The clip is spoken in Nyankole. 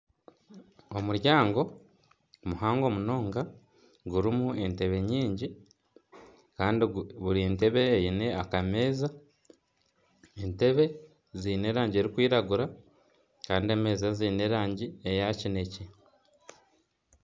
Omuryango muhango munonga gurimu entebe nyingi kandi buri ntebe eine akameeza, entebe ziine erangi erikwiragura kandi emeeza ziine erangi ya kinekye.